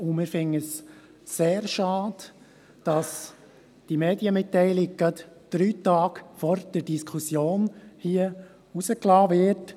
Wir finden es sehr schade, dass die Medienmitteilung lediglich drei Tage vor der Diskussion hier veröffentlicht wird.